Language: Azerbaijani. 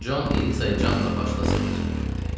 Con Elizaya canla başla sığınacaq verdi.